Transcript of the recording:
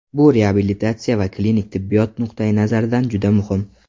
Bu reabilitatsiya va klinik tibbiyot nuqtayi nazaridan juda muhim.